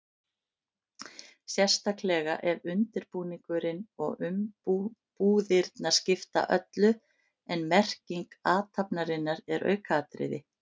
Sérstaklega ef undirbúningurinn og umbúðirnar skipta öllu en merking athafnarinnar er aukaatriði.